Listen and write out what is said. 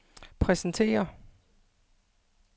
præsentere